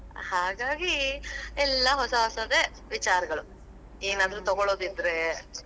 ಹಾಗಾಗಿ, ಎಲ್ಲಾ ಹೊಸಾ ಹೊಸಾದೆ ವಿಚಾರಗಳು, ತಗೋಳೋದಿದ್ರೆ.